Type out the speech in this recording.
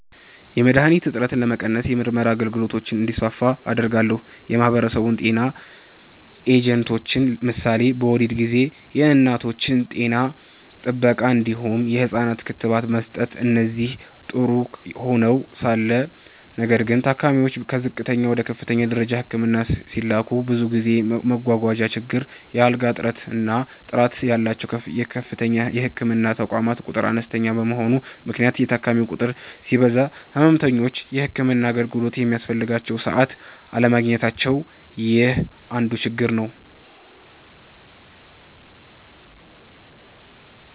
.የመድሀኒት እጥረትን ለመቀነስ የምርመራ አገልግሎቶች እንዲስፋፉ አደርጋለሁ። .የማህበረሰብ ጤና ኤጀንቶች ምሳሌ በወሊድ ጊዜ የእናቶች ጤና ጥበቃ እንዲሁም የህፃናት ክትባት መስጠት እነዚህ ጥሩ ሆነዉ ሳለ ነገር ግን ታካሚዎች ከዝቅተኛ ወደ ከፍተኛ ደረጃ ህክምና ሲላኩ ብዙ ጊዜ መጓጓዣ ችግር፣ የአልጋ እጥረት እና ጥራት ያላቸዉ ከፍተኛ የህክምና ተቋማት ቁጥር አነስተኛ በመሆኑ ምክንያት የታካሚ ቁጥር ሲበዛ ህመምተኞች የህክምና አገልግሎቱ በሚያስፈልጋቸዉ ሰዓት አለማግኘታቸዉ ይህ አንድ ችግር ነዉ።